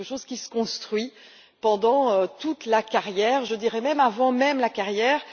C'est quelque chose qui se construit pendant toute la carrière, je dirais même avant la carrière.